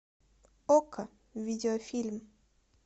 окко видеофильм